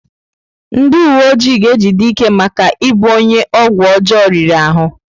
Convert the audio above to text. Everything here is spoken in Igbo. Ndị uwe ojii ga-ejide Ike maka ịbụ onye ọgwụ ọjọọ riri ahụ.